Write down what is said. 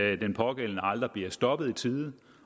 at den pågældende aldrig bliver stoppet i tide